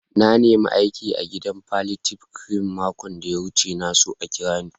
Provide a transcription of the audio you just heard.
Na nema aiki a'gidan palliative care makon da ya wuce. Na so a kira ni.